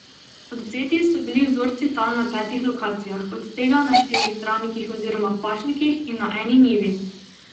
Odvzeti so bili vzorci tal na petih lokacijah, od tega na štirih travnikih oziroma pašnikih in na eni njivi.